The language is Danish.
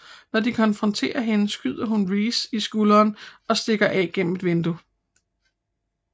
Når de konfronterer hende skyder hun Reese i skulderen og stikker af gennem et vindue